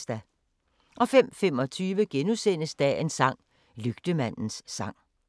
05:25: Dagens sang: Lygtemandens sang *